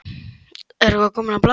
Er það eitthvað komið á blað?